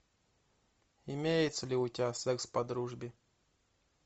имеется ли у тебя секс по дружбе